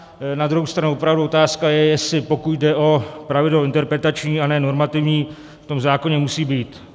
Na druhou stranu opravdu otázka je, jestli pokud jde o pravidlo interpretační a ne normativní, v tom zákoně musí být.